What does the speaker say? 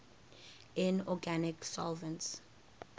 inorganic solvents